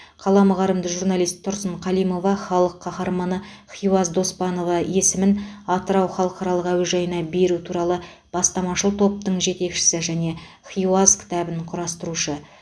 қаламы қарымды журналист тұрсын қалимова халық қаһарманы хиуаз доспанова есімін атырау халықаралық әуежайына беру туралы бастамашыл топтың жетекшісі және хиуаз кітабын құрастырушы